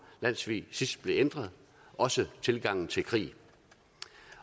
landssvig sidst blev ændret også tilgangen til krig